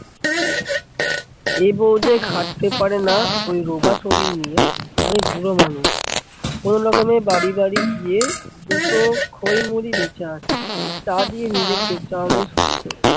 এ বউ যে খাটতে পারেনা ওই রোগা শরীর নিয়ে। আমি বুড়ো মানুষ, কোনো রকমে বাড়ি বাড়ি গিয়ে দুটো খই মুড়ি বেঁচে আসি, তা দিয়ে নীজের পেট চালানোই শক্ত